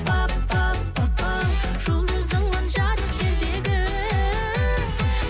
пап пап папау жұлдызыңмын жарық жердегі